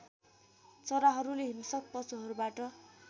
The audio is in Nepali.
चराहरूले हिंस्रक पशुहरूबाट